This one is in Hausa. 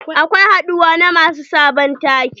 Akwai haduwa na masu sabon take.